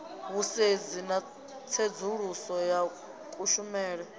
vhusedzi na tsedzuluso ya kushumele